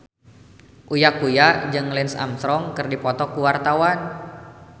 Uya Kuya jeung Lance Armstrong keur dipoto ku wartawan